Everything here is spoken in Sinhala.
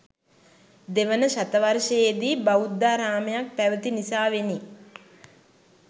දෙවන ශතවර්ශයේදි බෞද්ධාරාමයක් පැවති නිසාවෙනි.